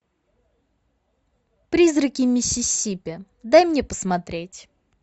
призраки миссисипи дай мне посмотреть